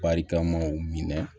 Barikamaw minɛ